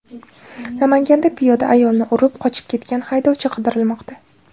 Namanganda piyoda ayolni urib, qochib ketgan haydovchi qidirilmoqda.